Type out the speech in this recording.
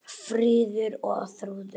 Fríður og Þrúður.